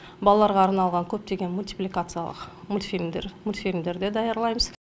балаларға арналған көптеген мультипликациялық мультфильмдер де даярлаймыз